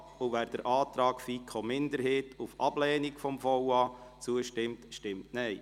Wer dem Antrag der FiKo-Minderheit auf Ablehnung des VA zustimmt, stimmt Nein.